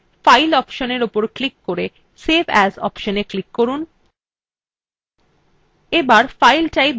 তাহলে menubar file অপশনএ click করে save as অপশনএ click করুন